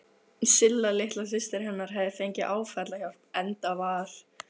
Silla litla systir hennar hafði fengið áfallahjálp, enda var